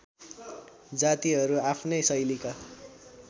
जातिहरू आफ्नै शैलीका